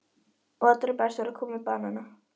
Og allra best var að koma með banana.